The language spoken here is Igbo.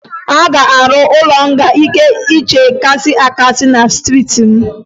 A ga-arụ ụlọ nga nke nche kasị akasị na steeti m